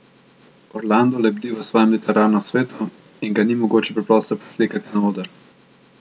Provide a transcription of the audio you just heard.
Orlando lebdi v svojem literarnem svetu in ga ni mogoče preprosto preslikati na oder.